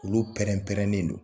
Olu pɛrɛn pɛrɛnnen don.